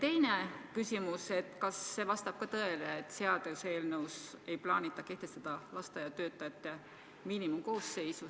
Ja teine küsimus ka: kas see vastab tõele, et seaduseelnõus ei plaanita kehtestada lasteaiatöötajate miinimumkoosseisu?